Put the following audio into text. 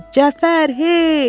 Cəfər, hey!